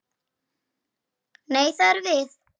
Nei, það erum við.